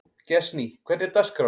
Gestný, hvernig er dagskráin?